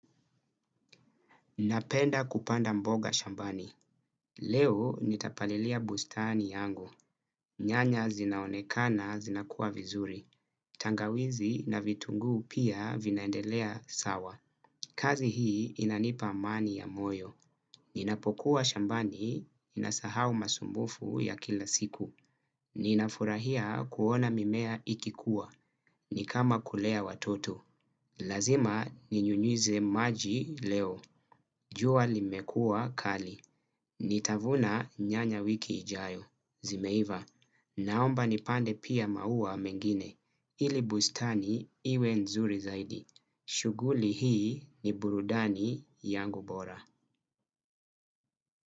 Napenda kupanda mboga shambani. Leo nitapalilia bustani yangu. Nyanya zinaonekana zinakuwa vizuri. Tangawizi na vitunguu pia vinaendelea sawa. Kazi hii inanipa amani ya moyo. Ninapokuwa shambani ninasahau masumbufu ya kila siku. Ninafurahia kuona mimea ikikuwa. Ni kama kulea watoto. Lazima ninyunyize maji leo. Jua limekuwa kali. Nitavuna nyanya wiki ijayo. Zimeiva. Naomba nipande pia maua mengine. Ili bustani iwe nzuri zaidi. Shughuli hii ni burudani yangu bora.